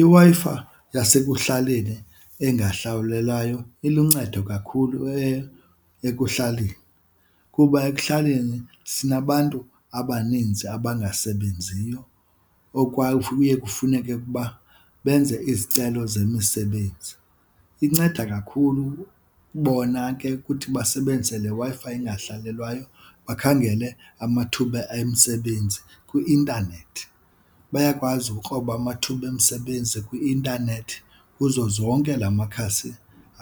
IWi-Fi yasekuhlaleni engahlawulelwayo iluncedo kakhulu ekuhlaleni kuba ekuhlaleni sinabantu abaninzi abangasebenziyo okwa kuye kufuneke ukuba benze izicelo zemisebenzi. Inceda kakhulu bona ke ukuthi basebenzise le Wi-Fi engahlawulelwayo bakhangele amathuba emisebenzi kwi-intanethi. Bayakwazi ukukroba amathuba emisebenzi kwi-intanethi kuzo zonke la makhasi